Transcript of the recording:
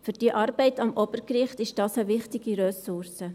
Für die Arbeit am Obergericht ist das eine wichtige Ressource.